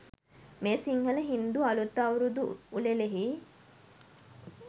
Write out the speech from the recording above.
මේ සිංහල, හින්දු අලුත් අවුරුදු උළෙලෙහි